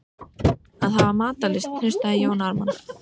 Að hafa matarlyst, hnussaði Jón Ármann.